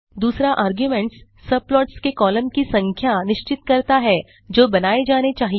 दूसरा आर्गुमेंट सब प्लॉट्स के कॉलम की संख्या निश्चित करता है जो बनाये जाने चाहिए